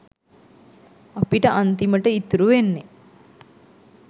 අපිට අන්තිමට ඉතුරු වෙන්නේ.